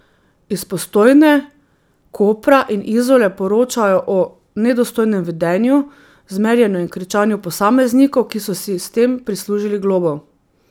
Iz Postojne, Kopra in Izole poročajo o nedostojnem vedenju, zmerjanju in kričanju posameznikov, ki so si s tem prislužili globo.